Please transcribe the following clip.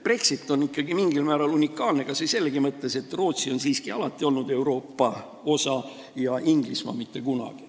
Brexit on ikkagi mingil määral unikaalne kas või selleski mõttes, et Rootsi on siiski alati olnud Euroopa osa ja Inglismaa mitte kunagi.